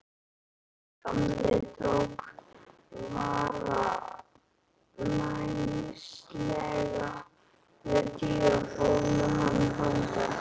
Gamli tók varfærnislega við Týra og fór með hann þangað.